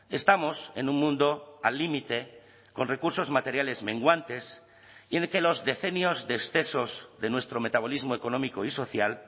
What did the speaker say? estamos en un mundo al límite con recursos materiales menguantes y en el que los decenios de excesos de nuestro metabolismo económico y social